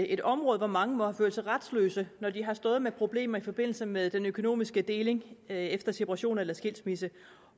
et område hvor mange må have følt sig retsløse når de har stået med problemer i forbindelse med den økonomiske deling efter separation eller skilsmisse